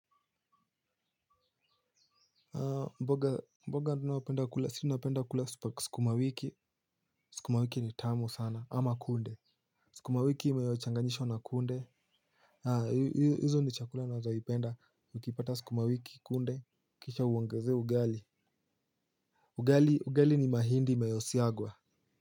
Mboga tunayopenda kula sisi tunapenda kula sukumawiki sukumawiki ni tamu sana ama kunde. Sukumawiki inayo changanyishwa na kunde. Hizo ni chakula ninazopenda ukipata sikumawiki kunde. Kisha uongeze ugali. Ugali ugali ni mahindi inayosiagwa.